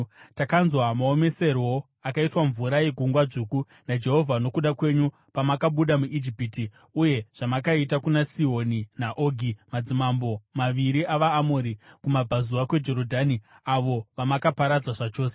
Takanzwa maomeserwo akaitwa mvura yeGungwa Dzvuku naJehovha nokuda kwenyu pamakabuda muIjipiti, uye zvamakaita kuna Sihoni naOgi, madzimambo maviri avaAmori kumabvazuva kweJorodhani, avo vamakaparadza zvachose.